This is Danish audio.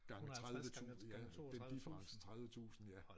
Gange 30 tusinde ja det differencen 30 tusinde ja